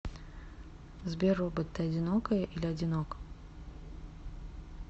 сбер робот ты одинокая или одинок